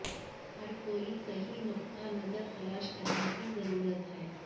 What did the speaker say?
ہر کوئی صحیح نقطہ نظر تلاش کرنے کی ضرورت ہے